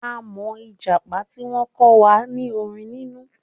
Àmọ́ Ìjàpá tí wọ́n kọ́ wa ní orin nínú